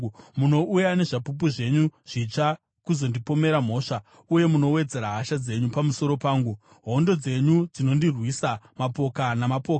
Munouya nezvapupu zvenyu zvitsva kuzondipomera mhosva uye munowedzera hasha dzenyu pamusoro pangu, hondo dzenyu dzinondirwisa, mapoka namapoka.